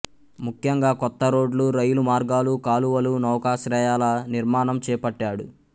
ముఖ్యంగా కొత్త రోడ్లు రైలు మార్గాలు కాలువలు నౌకాశ్రయాల నిర్మాణం చేపట్టాడు